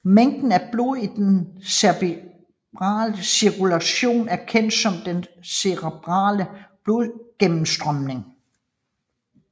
Mængden af blod i den cerebrale cirkulation er kendt som den cerebrale blodgennemstrømning